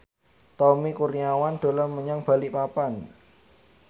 Tommy Kurniawan dolan menyang Balikpapan